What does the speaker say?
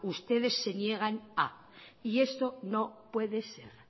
ustedes se niegan a y eso no puede ser